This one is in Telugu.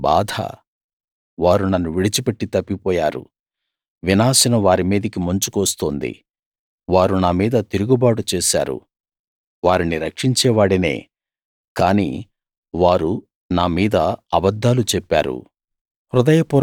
వారికి బాధ వారు నన్ను విడిచిపెట్టి తప్పిపోయారు వినాశం వారి మీదికి ముంచుకు వస్తోంది వారు నా మీద తిరుగుబాటు చేశారు వారిని రక్షించేవాడినే కానీ వారు నా మీద అబద్ధాలు చెప్పారు